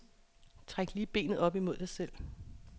Træk benet lige op imod dig selv.